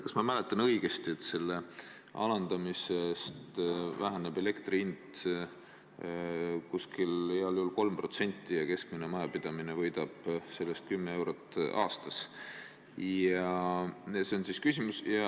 Kas ma mäletan õigesti, et selle alandamise korral väheneb elektri hind heal juhul 3% ja keskmine majapidamine võidab sellest kümme eurot aastas?